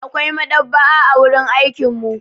Akwai maɗaba'a a wurin aikin mu.